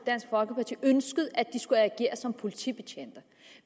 dansk folkeparti ønskede at de skulle agere som politibetjente